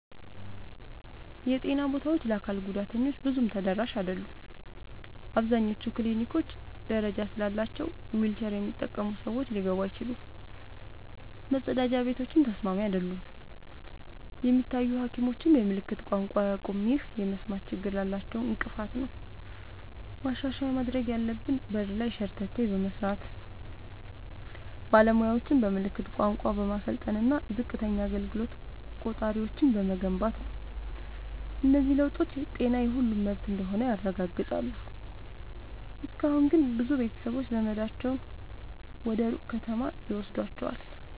የጤና ቦታዎች ለአካል ጉዳተኞች ብዙም ተደራሽ አይደሉም። አብዛኞቹ ክሊኒኮች ደረጃ ስላላቸው ዊልቸር የሚጠቀሙ ሰዎች ሊገቡ አይችሉም፤ መጸዳጃ ቤቶችም ተስማሚ አይደሉም። የሚታዩ ሐኪሞችም የምልክት ቋንቋ አያውቁም፣ ይህም የመስማት ችግር ላላቸው እንቅፋት ነው። ማሻሻያ ማድረግ ያለብን በር ላይ ሸርተቴ በመስራት፣ ባለሙያዎችን በምልክት ቋንቋ በማሰልጠን እና ዝቅተኛ አገልግሎት ቆጣሪዎችን በመገንባት ነው። እነዚህ ለውጦች ጤና የሁሉም መብት እንደሆነ ያረጋግጣሉ። እስካሁን ግን ብዙ ቤተሰቦች ዘመዳቸውን ወደ ሩቅ ከተማ ይወስዷቸዋል።